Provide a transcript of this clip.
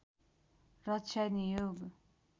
रक्षा नियोग